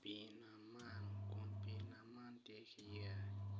Pii nam man kun pii nam tye ki yeya,